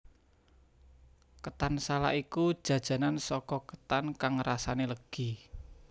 Ketan salak iku jajanan saka ketan kang rasane legi